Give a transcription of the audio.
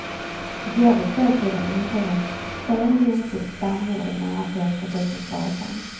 I går vid tvåtiden intog han sen lunch vid stambordet nära fönstret ut mot gatan.